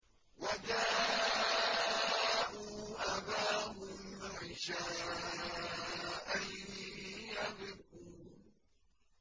وَجَاءُوا أَبَاهُمْ عِشَاءً يَبْكُونَ